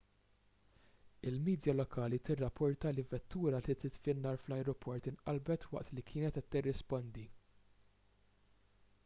il-midja lokali tirrapporta li vettura li titfi n-nar fl-ajruport inqalbet waqt li kienet qed tirrispondi